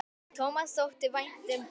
Tómasi þótti vænt um börn.